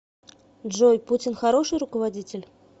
джой путин хороший руководитель